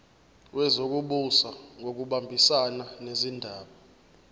wezokubusa ngokubambisana nezindaba